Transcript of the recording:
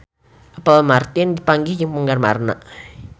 Apple Martin papanggih jeung penggemarna